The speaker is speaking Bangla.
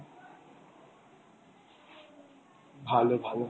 ভালো ভালো।